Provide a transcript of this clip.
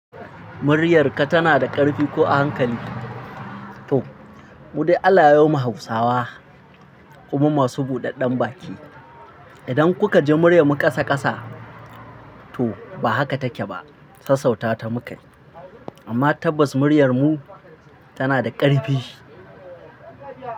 Muryarka tana da ƙarfi ko a hankali? To, mu dai Allah ya ma Hausawa, ummi masu buɗaɗɗen baki. Idan kuka ji muryar mu ƙasa ƙasa, to ba haka take ba. Sassauta ta mukai, amma tabbas muryar mu tana da ƙarfi.